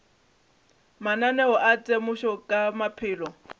mananeo a temošo ka maphelo